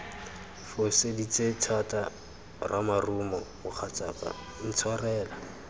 foseditse thata ramarumo mogatsaka intshwarele